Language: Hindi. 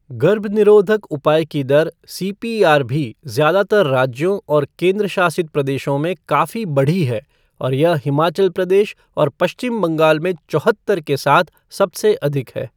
गर्भनिरोधक उपाय की दर सीपीआर भी ज्यादातर राज्यों और केंद्र शासित प्रदेशों में काफी बढ़ी है और यह हिमाचल प्रदेशऔर पश्चिम बंगाल में चौहत्तर के साथ सबसे अधिक है।